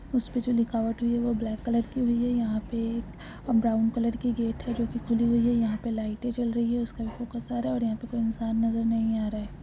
इस्पे जो लिखावट हुई है वो ब्लैक कलर की हुई है यहाँ पे एक ब्राउन कलर की गेट है जो की खुली हुई है यहाँ पे लाइटए जल रही हैं उसका भी फोकस आरा है और यहाँ पे कोई इंसान नजर नहीं आ रहा है।